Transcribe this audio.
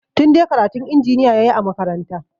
Tunde karatun injiniya ya yi a makaranta.